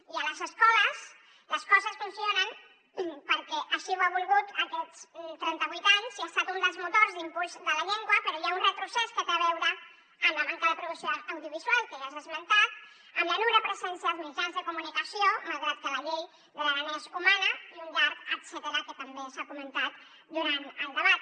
i a les escoles les coses funcionen perquè així ho han volgut aquests trentavuit anys i han estat un dels motors d’impuls de la llengua però hi ha un retrocés que té a veure amb la manca de producció audiovisual que ja s’ha esmentat amb la nul·la presència als mitjans de comunicació malgrat que la llei de l’aranès ho mana i un llarg etcètera que també s’ha comentat durant el debat